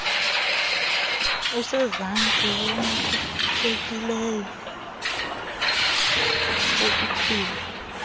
usezantsi wamkelekileyo wokuphila